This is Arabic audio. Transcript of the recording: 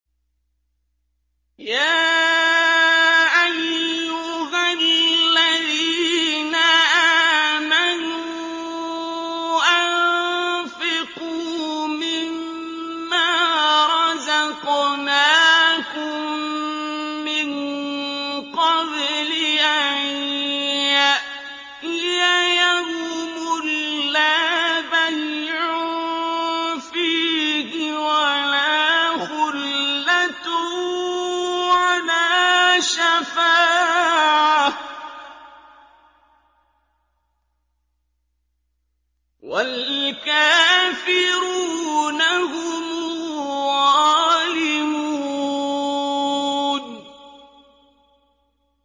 يَا أَيُّهَا الَّذِينَ آمَنُوا أَنفِقُوا مِمَّا رَزَقْنَاكُم مِّن قَبْلِ أَن يَأْتِيَ يَوْمٌ لَّا بَيْعٌ فِيهِ وَلَا خُلَّةٌ وَلَا شَفَاعَةٌ ۗ وَالْكَافِرُونَ هُمُ الظَّالِمُونَ